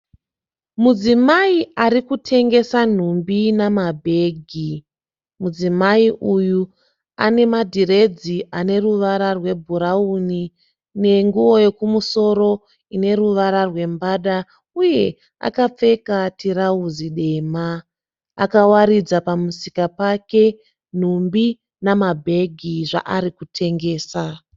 Mudzimai ari kutengesa nhumbi namabhegi. Mudzimai uyu ana madhiredzi ane ruvara rwebhurauni nenguwo yekumusoro ine ruvara rwembada uye akapfeka tirauzi dema. Akawaridza pamusika pake nhumbi namabhegi zvaari kutengesa